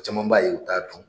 O caman b'a ye u t'a dɔn